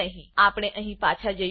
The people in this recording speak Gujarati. આપણે અહી પાછા જઈશું